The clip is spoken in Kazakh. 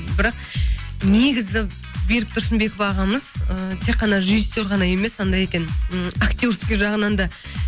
бірақ негізі берік тұрсынбеков ағамыз ыыы тек қана режиссер ғана емес анандай екен м актерский жағынан да